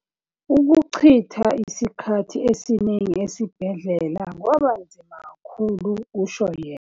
"Ukuchitha isikhathi esiningi esibhedlela kwabanzima kakhulu," kusho yena.